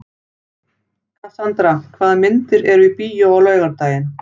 Kassandra, hvaða myndir eru í bíó á laugardaginn?